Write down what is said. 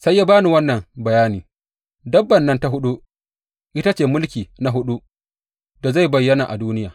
Sai ya ba ni wannan bayani, Dabbar nan ta huɗu, ita ce mulki na huɗu da zai bayyana a duniya.